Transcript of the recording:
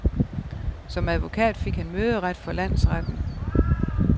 Som advokat fik han møderet for landsretten.